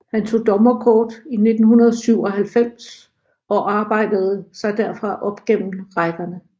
Han tog dommerkort i 1997 og arbejdede sig derfra op gennem rækkerne